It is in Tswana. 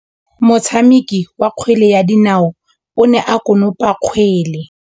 Motshameki wa kgwele ya dinaô o ne a konopa kgwele.